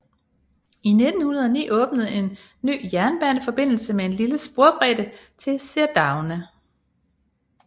I 1909 åbnede en ny jernbaneforbindelse med lille sporbredde til Cerdagne